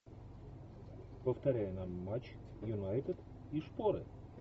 повторяй нам матч юнайтед и шпоры